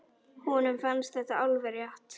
Honum fannst þetta alveg rétt.